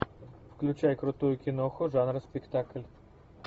включай крутую киноху жанра спектакль